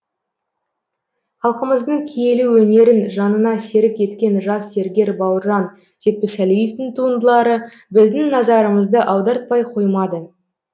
халқымыздың киелі өнерін жанына серік еткен жас зергер бауыржан жетпісәлиевтің туындылары біздің назарымызды аудартпай қоймады